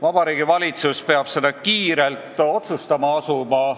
Vabariigi Valitsus peab seda kiirelt otsustama asuma.